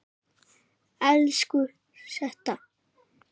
Elsku Setta.